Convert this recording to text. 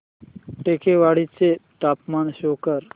टेकवाडे चे तापमान शो कर